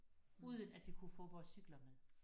Uden at vi kunne få vores cykler med